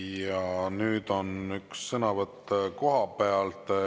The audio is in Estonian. Ja nüüd on üks sõnavõtt kohapealt.